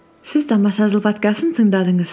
сіз тамаша жыл подкастын тыңдадыңыз